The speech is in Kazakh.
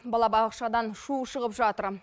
балабақшадан шу шығып жатыр